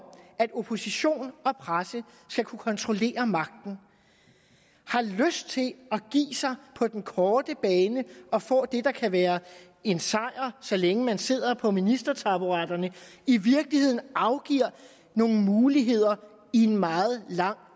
at opposition og presse skal kunne kontrollere magten har lyst til at give sig på den korte bane og få det der kan være en sejr så længe man sidder på ministertaburetterne og i virkeligheden afgive nogle muligheder i en meget lang